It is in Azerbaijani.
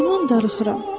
Yaman darıxıram.